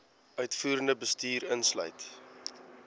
uitvoerende bestuur insluit